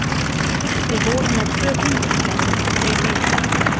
Við vorum með tvo kyndilbera, þeir heita